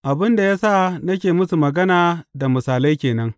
Abin da ya sa nake musu magana da misalai ke nan.